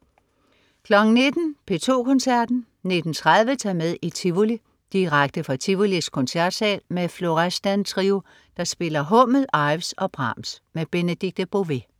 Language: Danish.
19.00 P2 Koncerten. 19.30 Ta' med i Tivoli. Direkte fra Tivolis Koncertsal med Florestan Trio, der spiller Hummel, Ives og Brahms. Benedikte Bové